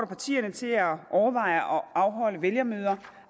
partierne til at overveje at afholde vælgermøder